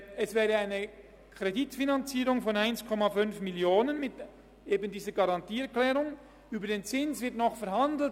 » Es wäre eine Kreditfinanzierung von 1,5 Mio. Franken mit eben dieser Garantieerklärung, über den Zins wird noch verhandelt.